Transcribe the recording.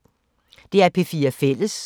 DR P4 Fælles